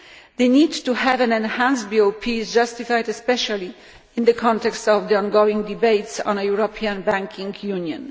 The need to have an enhanced BOP is justified, especially in the context of the ongoing debates on a European banking union.